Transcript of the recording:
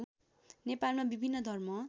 नेपालमा विभिन्न धर्म